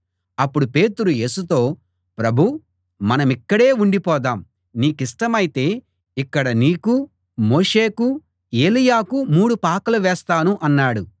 అప్పుడు పేతురు యేసుతో ప్రభూ మనమిక్కడే ఉండిపోదాం నీకిష్టమైతే ఇక్కడ నీకు మోషేకు ఏలీయాకు మూడు పాకలు వేస్తాను అన్నాడు